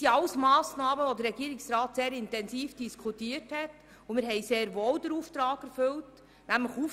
All diese Massnahmen hat der Regierungsrat sehr intensiv diskutiert, und wir haben den Auftrag sehr wohl erfüllt.